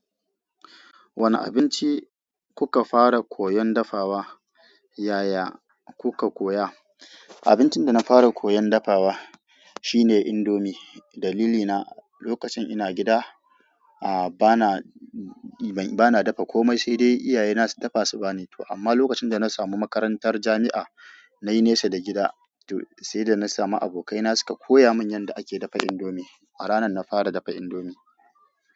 Wani abinci kuka fara koyan dafawa yaya kuka koya? Abincin dana fara koyan dafawa shine indomie. Dalilina lokacin ina gida, a bana, bana dafa kome, sai dai iyaye na su dafa su bani. To amma lokacin da na samu makarantar jami'a, na yi nesa da gida, to sai da na samu abokai na suka koya mun yadda ake dafa indomie. A ranan na fara dafa indomie.